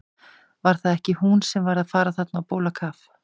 Var það ekki hún sem var að fara þarna á bólakaf?